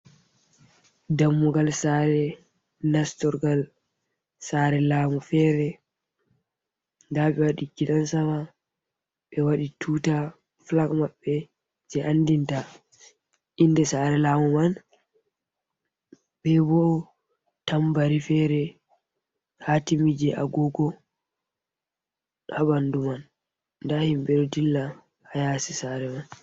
Dammugal Sare nastorgal Sare lamu fere. nda ɓe waɗi gidan Sama ɓe waɗi tuta fulak Mabbe je andinta inde Sare lamu man.be bo tambari fere hatimi je Agogo ha ɓandu man, nda himɓe ɗo dilla ha yasi Sare man.